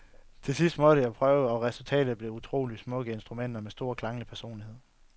Til sidst måtte jeg prøve, og resultatet blev to utroligt smukke instrumenter med stor klanglig personlighed.